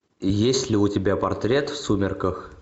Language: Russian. есть ли у тебя портрет в сумерках